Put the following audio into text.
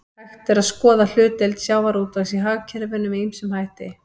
Hægt er að skoða hlutdeild sjávarútvegs í hagkerfinu með ýmsum hætti.